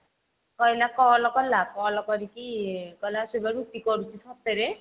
କହିଲା call କଲା call କରିକି କହିଲା ସେ ବା ରୁଟି କରୁଛି ସତରେ